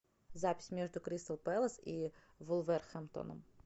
запись между кристал пэлас и вулверхэмптоном